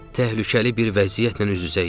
təhlükəli bir vəziyyətlə üz-üzəyik.